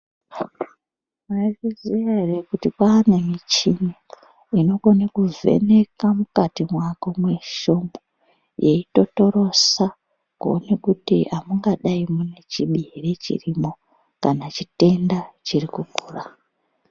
Mwaizviziya ere kuti kwaane michini inokone kuvheneka mukati mwako mwesheumwo, yeitotorosa kuone kuti amungadai mune chiro ere chirimo kana chitenda chiri kukura.